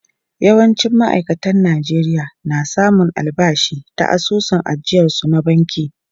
Yawancin ma’aikatan Najeriya na samun albashi ta asusun ajiyarsu na banki.